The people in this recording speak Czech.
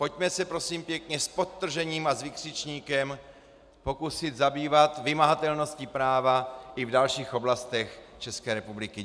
Pojďme se, prosím pěkně, s podtržením a s vykřičníkem pokusit zabývat vymahatelností práva i v dalších oblastech České republiky.